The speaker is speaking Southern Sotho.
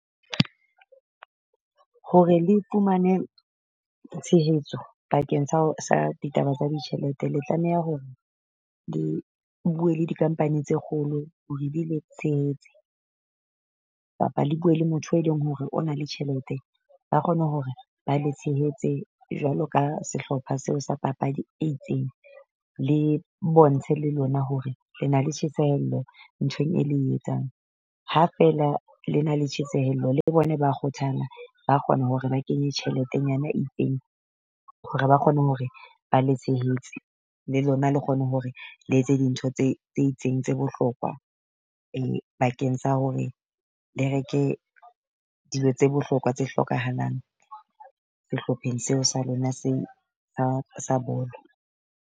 Hore le fumane tshehetso bakeng sa ditaba tsa ditjhelete, le tlameha hore le bue le di-company tse kgolo hore di le tshehetse. Kapa le bue le motho e leng hore o na le tjhelete. Ba kgone hore ba le tshehetse jwalo ka sehlopha seo sa papadi e itseng. Le bontshe le lona hore le na le tjhesehello nthong e le etsang, ha feela le na le tjhesehello le bona ba kgothala. Ba kgona hore ba kenye tjheletenyana e itseng, hore ba kgone hore ba le tshehetse, le lona le kgone hore le etse dintho tse tse itseng tse bohlokwa bakeng sa hore le reke dijo tse bohlokwa tse hlokahalang sehlopheng seo sa lona se sa sa bolo.